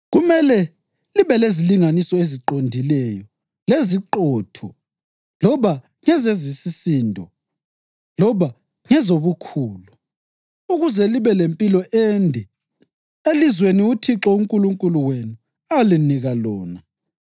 Kumele libe lezilinganiso eziqondileyo leziqotho loba ngezesisindo loba ngezobukhulu, ukuze libe lempilo ende elizweni uThixo uNkulunkulu wenu alinika lona.